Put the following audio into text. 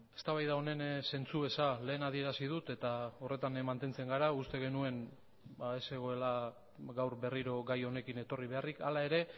eztabaida honen zentzu eza lehen adierazi dut eta horretan mantentzen gara uste genuen ez zegoela gaur berriro gai honekin etorri beharrik hala ere